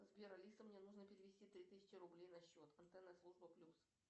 сбер алиса мне нужно перевести три тысячи рублей на счет антенна служба плюс